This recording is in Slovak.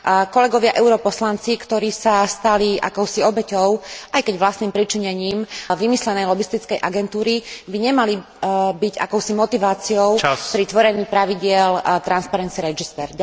Kolegovia europoslanci, ktorí sa stali akousi obeťou aj keď vlastným pričinením vymyslenej lobistickej agentúry, by nemali byť akousi motiváciou pri tvorení pravidiel transparency register.